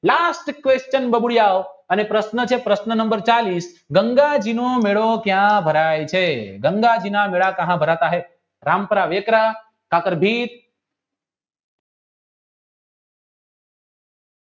last question બબુડિયાવ અને પ્રશ્ન છે પ્રશ્ન નંબર ચાલીશ ગંગાજીનો મેળો ક્યાં ભરાય છે ગંગાજીના મેલા કહા ભારત જ્હાએ રામપરા વેકરા ખાતર